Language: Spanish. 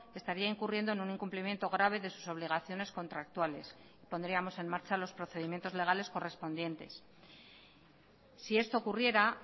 estaría incurriendo en un incumplimiento grave de sus obligaciones contractuales pondríamos en marcha los procedimientos legales correspondientes si esto ocurriera